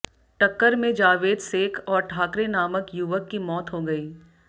टक्कर में जावेद सेख और ठाकरे नामक युवक की मौत हो गई